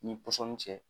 Ni pɔsɔni cɛ